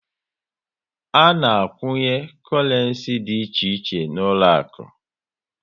A na a kwunye korenci dị iche iche n'uloaku